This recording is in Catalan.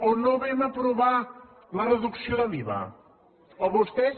o no vam aprovar la reducció de l’iva o vostès